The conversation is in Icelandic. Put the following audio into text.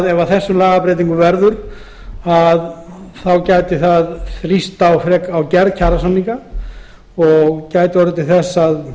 ef af lagabreytingu verður geta lögin þrýst á gerð kjarasamninga og orðið til þess að